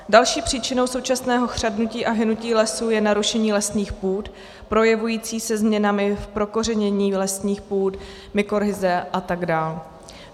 Další příčinou současného chřadnutí a hynutí lesů je narušení lesních půd projevující se změnami v prokořenění lesních půd, mykorhiza a tak dál.